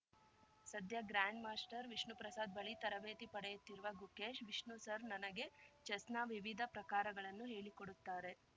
ಸದ್ಯ grand master Vishnu Prasad ಬಳಿ ತರಬೇತಿ ಪಡೆಯುತ್ತಿರುವ ಗುಕೇಶ್‌ ವಿಷ್ಣು ಸರ್‌ ನನಗೆ ಚೆಸ್‌ನ ವಿವಿಧ ಪ್ರಕಾರಗಳನ್ನು ಹೇಳಿಕೊಡುತ್ತಾರೆ